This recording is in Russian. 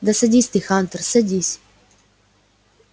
да садись ты хантер садись